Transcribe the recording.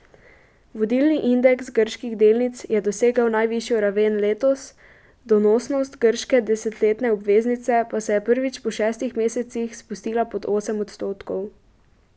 Vodilni indeks grških delnic je dosegel najvišjo raven letos, donosnost grške desetletne obveznice pa se je prvič po šestih mesecih spustila pod osem odstotkov.